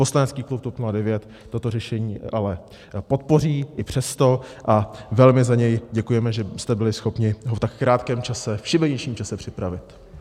Poslanecký klub TOP 09 toto řešení ale podpoří i přesto, a velmi za něj děkujeme, že jste byli schopni ho v tak krátkém čase, v šibeničním čase, připravit.